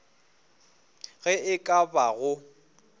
ge e ka ba go